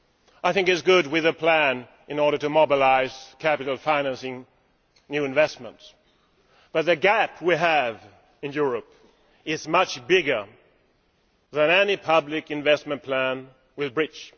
I think it is good to have a plan in order to mobilise capital financing of new investments, but the gap we have in Europe is much bigger than any public investment plan can bridge.